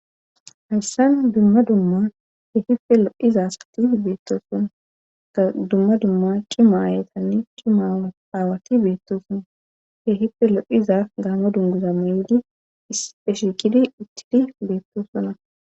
hayssan dumma dumma he hife lo7iza asati beettoosona ka dumma dumma cima aayetanni cima aawati beettosona he hife lo7iza gaamo dunguza ma7di e shikidi uttidi beettosona